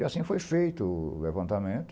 E assim foi feito o o levantamento.